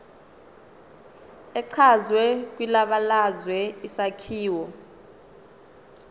echazwe kwibalazwe isakhiwo